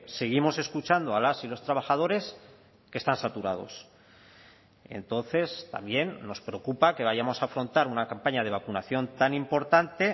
seguimos escuchando a las y los trabajadores que están saturados entonces también nos preocupa que vayamos a afrontar una campaña de vacunación tan importante